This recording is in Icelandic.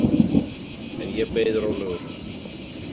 En ég beið rólegur.